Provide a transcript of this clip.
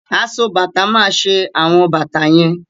Aso bàtà máa ṣe àwọn bàtà yẹn.